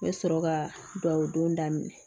N bɛ sɔrɔ ka duwawu don daminɛ